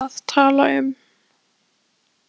Hvað voru þau að tala um?